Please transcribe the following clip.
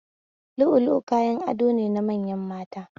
Lu'u lu'u kayan ado ne na manyan mata